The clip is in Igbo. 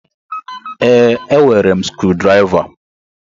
Ee, e nwere sukudiriva